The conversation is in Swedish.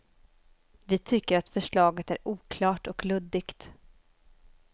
Vi tycker att förslaget är oklart och luddigt.